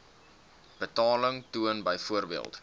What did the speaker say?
betaling toon byvoorbeeld